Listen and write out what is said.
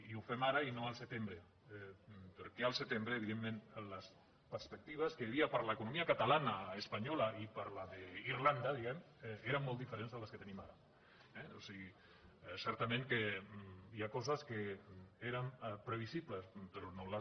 i ho fem ara i no al setembre perquè al setembre evidentment les perspectives que hi havia per a l’economia catalana espanyola i per la d’irlanda diguem ne eren molt diferents de les que tenim ara eh o sigui certament que hi ha coses que eren previsibles però no les